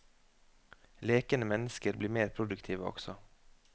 Lekende mennesker blir mer produktive også.